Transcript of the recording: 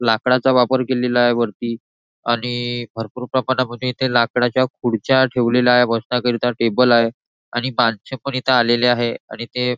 लाकडाचा वापर केलेला आहे वरती आणि भरपूर प्रमाणामध्ये इथे लाकडाच्या खुर्च्या ठेवलेल्या आहे बसण्याकरता करता टेबल आहे आणि माणसं पण इथे आलेले आहेत आणि ते --